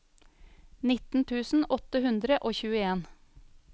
nitten tusen åtte hundre og tjueen